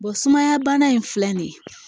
sumaya bana in filɛ nin ye